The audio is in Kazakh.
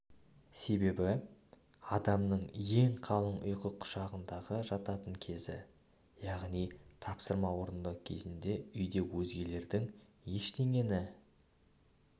себебі адамның ең қалың ұйқы құшағында жататын кезі яғни тапсырма орындау кезінде үйде өзгелердің ештеңені